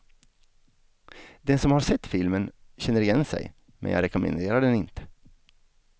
Den som har sett filmen känner igen sig, men jag rekommenderar den inte.